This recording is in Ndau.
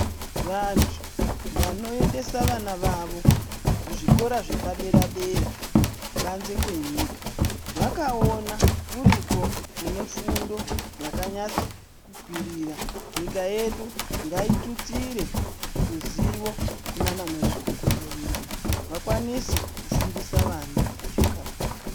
Vantu vanoendesa vana vavo kuzvikora zvepadera dera kubanze kwenyika vakaona kuriko kune fundo yakanyatso kwirira nyika yedu ngaitutsire ruzivo kunana mazvikokota vedu vakwanise kufundisa vana vedu zvakanaka.